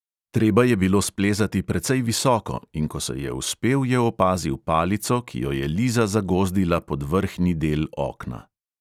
Treba je bilo splezati precej visoko, in ko se je vzpel, je opazil palico, ki jo je liza zagozdila pod vrhnji del okna.